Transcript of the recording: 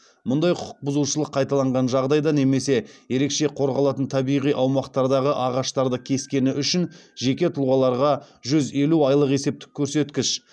мұндай құқық бұзушылық қайталанған жағдайда немесе ерекше қорғалатын табиғи аумақтардағы ағаштарды кескені үшін жеке тұлғаларға жүз елу айлық есептік көрсеткіш